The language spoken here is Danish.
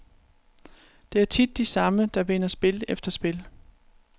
Det er tit de samme, der vinder spil efter spil.